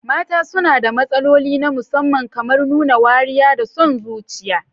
Mata suna da matsaloli na musamman, kamar nuna wariya da son zuciya.